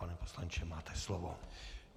Pane poslanče, máte slovo.